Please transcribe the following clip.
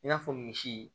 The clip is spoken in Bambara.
I n'a fɔ misi